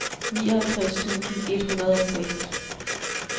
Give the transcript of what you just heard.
nioghalvtreds tusind et hundrede og seks